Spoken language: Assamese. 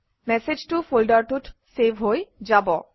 মেচেজটো ফল্ডাৰটোত চেভ হৈ যাব